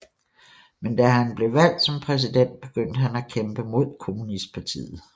Men da han blev valgt som præsident begyndte han at kæmpe mod kommunistpartiet